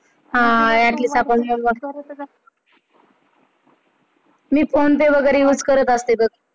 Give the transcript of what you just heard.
मी PhonePe वैगैरे वापरत असते बघ.